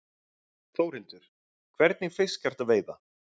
Þórhildur: Hvernig fisk ertu að veiða?